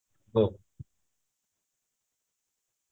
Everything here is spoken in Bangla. hello